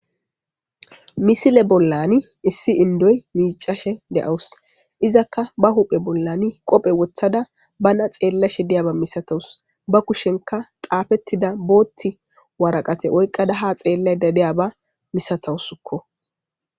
Misile bolla issi indoyi miccashe deyawusi izaka ba huphe bollani qobe wothada banna xelashe ba kushenika xafetidda bothi wariqate oyikadda ha xelashe diyabba massatawusiko